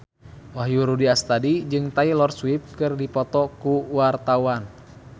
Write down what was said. Wahyu Rudi Astadi jeung Taylor Swift keur dipoto ku wartawan